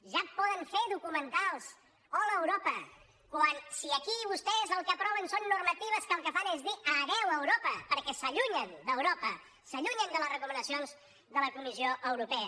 ja poden fer documentals hola europa el que aproven són normatives que el que fan és dir adéu europa perquè s’allunyen d’europa s’allunyen de les recomanacions de la comissió europea